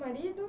Marido.